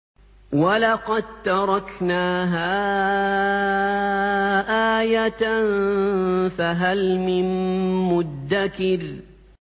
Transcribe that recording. وَلَقَد تَّرَكْنَاهَا آيَةً فَهَلْ مِن مُّدَّكِرٍ